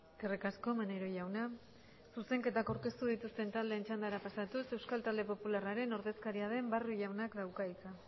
eskerrik asko maneiro jauna zuzenketa aurkeztu dituzten taldeen txandaraz pasatuz euskal talde popularraren ordezkaria den barrio jaunak dauka hitza